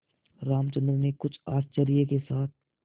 रामचंद्र ने कुछ आश्चर्य के साथ